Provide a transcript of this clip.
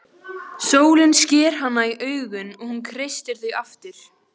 Sólin sker hana í augun og hún kreistir þau aftur.